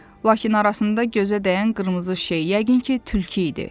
Lakin arasında gözə dəyən qırmızı şey yəqin ki, tülkü idi.